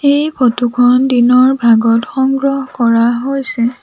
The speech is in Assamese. এই ফটো খন দিনৰ ভাগত সংগ্ৰহ কৰা হৈছে।